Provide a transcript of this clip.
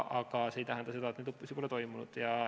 Aga see ei tähenda, et neid õppusi pole toimunud.